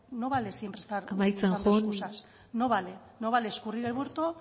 amaitzen joan no vale siempre estar buscando escusas no vale no vale no vale escurrir el bulto